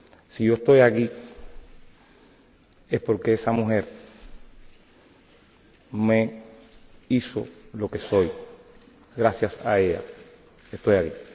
Si yo estoy aquí, es porque esta mujer me hizo lo que soy. Gracias a ella estoy aquí.